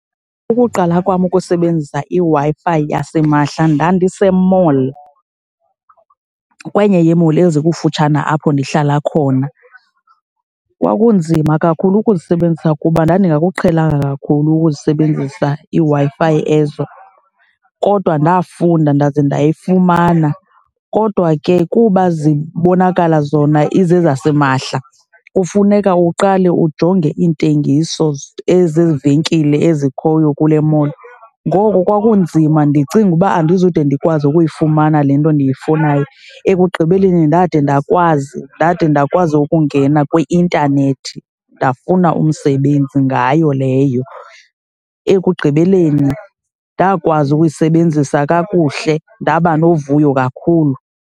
Ukuqala kwam ukusebenzisa iWi-Fi yasimahla ndandisemall, kwenye yee-mall ezikufutshane apho ndihlala khona. Kwakunzima kakhulu ukuzisebenzisa kuba ndandingakuqhelanga kakhulu ukuzisebenzisa iiWi-Fi ezo, kodwa ndafunda ndaze ndayifumana. Kodwa ke kuba zibonakala zona izezasimahla kufuneka uqale ujonge iintengiso ezezi venkile ezikhoyo kule mall, ngoko kwakunzima ndicinga uba andizode ndikwazi ukuyifumana le nto ndiyifunayo. Ekugqibeleni ndade ndakwazi, ndade ndakwazi ukungena kwi-intanethi ndafuna umsebenzi ngayo leyo. Ekugqibeleni ndakwazi ukuyisebenzisa kakuhle ndaba novuyo kakhulu.